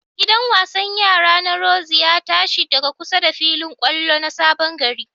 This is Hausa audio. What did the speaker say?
Gidan wasan yara na rorzi ya ta shi daga kusa da filin ƙwallon na Sabon gari.